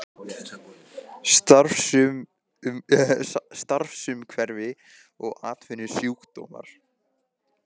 Starfsumhverfi og atvinnusjúkdómar.